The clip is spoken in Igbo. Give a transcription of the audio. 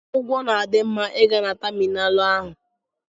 Ụgwọ na-adị ma ị gaa na tamịnalụ ahụ.